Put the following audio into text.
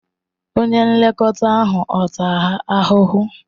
Onye nlekọta ahụ ọ̀ taa ha ahụhụ?